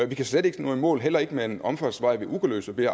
vi kan slet ikke nå i mål heller ikke med en omfartsvej ved ugerløse ved